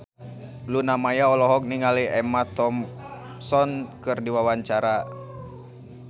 Luna Maya olohok ningali Emma Thompson keur diwawancara